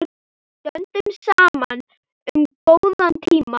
Stöndum saman um góða tíma.